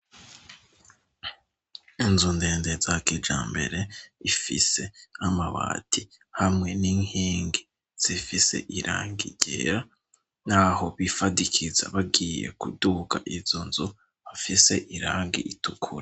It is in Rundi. Inzu ndende za kijambere ifise amabati hamwe n'inking zifise irangi ryera, naho bifadikiza bagiye kuduka izo nzu hafise irangi ritukura.